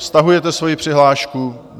Stahujete svoji přihlášku?